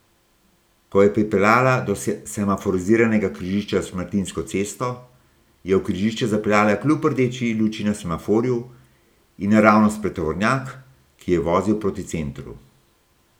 Ko je pripeljala do semaforiziranega križišča s Šmartinsko cesto, je v križišče zapeljala kljub rdeči luči na semaforju in naravnost pred tovornjak, ki je vozil proti centru.